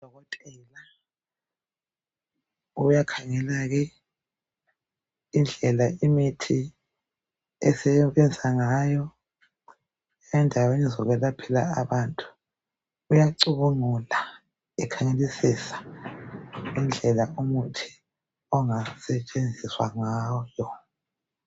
Udokotela uyakhangela ke indlela imithi esebenza ngayo endaweni zokwelaphela abantu. Uyacubungula ekhangelisisa ngendlela omuthi ongasetshenziswa ngayo.